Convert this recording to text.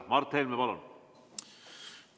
Mart Helme, palun!